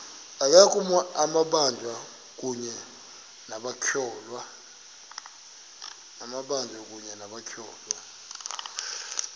amabanjwa kunye nabatyholwa